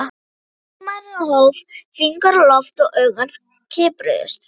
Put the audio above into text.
Lögmaðurinn hóf fingur á loft og augu hans kipruðust.